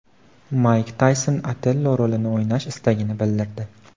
Mayk Tayson Otello rolini o‘ynash istagini bildirdi.